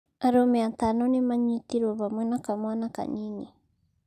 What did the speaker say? Arũme atano nĩmanyitĩrũo hamwe na kamwana kanini